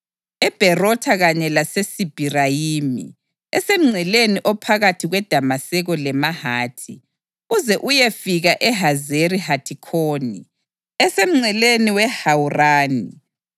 eBherotha kanye laseSibhirayimi (esemngceleni ophakathi kweDamaseko leHamathi), uze uyefika eHazeri Hathikhoni, esemngceleni weHawurani.